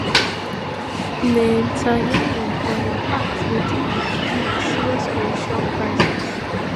netanyahu on im part dey deal wit deal wit serious coalition crisis